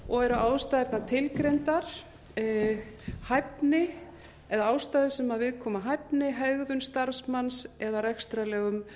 og eru ástæðurnar tilgreindar ástæður sem viðkoma hæfni hegðun starfsmanns eða rekstrarlegum